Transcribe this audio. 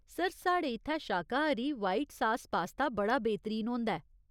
Sir, साढ़े इत्थै शाकाहारी व्हाइट सास पास्ता बड़ा बेहतरीन होंदा ऐ।